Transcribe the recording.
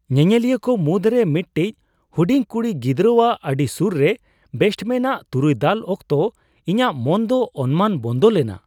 ᱧᱮᱧᱮᱞᱤᱭᱟᱹ ᱠᱚ ᱢᱩᱫᱨᱮ ᱢᱤᱫᱴᱤᱡ ᱦᱩᱰᱤᱝ ᱠᱩᱲᱤ ᱜᱤᱫᱽᱨᱟᱹᱨᱟᱣᱟᱜ ᱟᱰᱤ ᱥᱩᱨ ᱨᱮ ᱵᱮᱴᱥᱢᱮᱱ ᱟᱜ ᱛᱩᱨᱩᱭ ᱫᱟᱞ ᱚᱠᱛᱚ ᱤᱧᱟᱹᱜ ᱢᱚᱱ ᱫᱚ ᱚᱱᱢᱟᱱ ᱵᱚᱱᱫᱚ ᱞᱮᱱᱟ ᱾